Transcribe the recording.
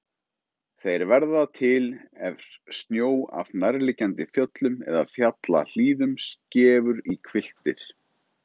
Þeir verða til er snjó af nærliggjandi fjöllum eða fjallahlíðum skefur í hvilftir.